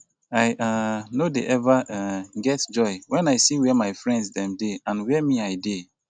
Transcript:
i um no dey eva um get joy when i see where my friends dem dey and where me i dey